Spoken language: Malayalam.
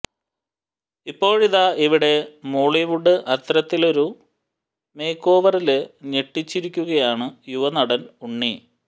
ഇപ്പോഴിതാ ഇവിടെ മോളിവുഡില് അത്തരത്തിലൊരു മേക്കോവറില് ഞെട്ടിച്ചിരിക്കുകയാണ് യുവനടന് ഉണ്ണി